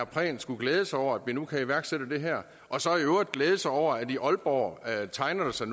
prehn skulle glæde sig over at vi nu kan iværksætte det her og så i øvrigt glæde sig over at der i aalborg tegner sig